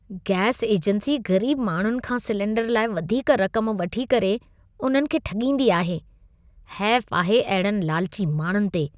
Gas agency ग़रीब माण्हुनि खां सिलिंडर लाइ वधीक रकम वठी करे उन्हनि खे ठॻींदी आहे। हैफ आहे अहिड़नि लालची माण्हुनि ते!